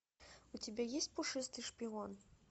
у тебя есть пушистый шпион